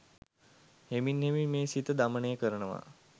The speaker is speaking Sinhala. හෙමින් හෙමින් මේ සිත දමනය කරනවා.